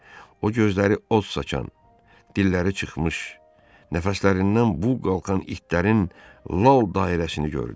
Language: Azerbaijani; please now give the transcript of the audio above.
O gözləri od saçan, dilləri çıxmış, nəfəslərindən bux qalxan itlərin lal dairəsini gördü.